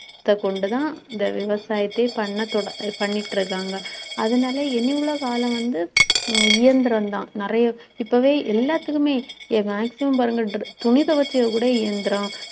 கொண்டு தான் இந்த விவசாயத்தையே பண்ண தொட~ பண்ணிட்டு இருக்காங்க. அதனால இனி உள்ள காலம் வந்து அஹ் இயந்திரம் தான் நிறைய இப்பவே எல்லாத்துக்குமே maximum பாருங்க dr~ துணி துவைக்க கூட இயந்திரம்